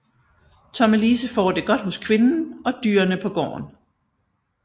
Tommelise får det godt hos kvinden og dyrene på gården